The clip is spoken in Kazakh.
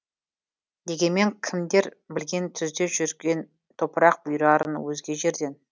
дегенмен кімдер білген түзде жүрген топырақ бұйырарын өзге жерден